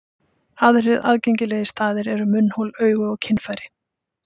Aðrir algengir staðir eru munnhol, augu og kynfæri.